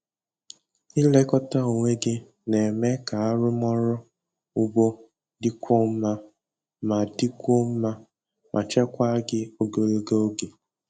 Ịlekọta onwe gị na-eme ka arụmọrụ ugbo dịkwuo mma ma dịkwuo mma ma chekwaa gị ogologo oge.